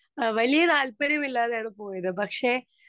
speaker 2 ആ വലിയ താല്പര്യമില്ലാതെയാണ് പോയത് പക്ഷെ